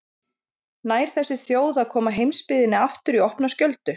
Nær þessi þjóð að koma heimsbyggðinni aftur í opna skjöldu?